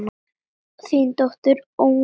Þín dóttir, Jónína.